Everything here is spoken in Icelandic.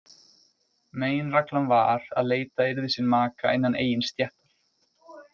Meginregla var að leita yrði sér maka innan eigin stéttar.